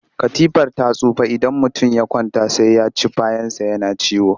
Katifar ta tsufa idan mutum ya kwanta sai ya ci bayansa yana ciwo